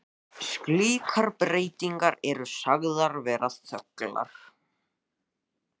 Slíkar breytingar eru sagðar vera þöglar.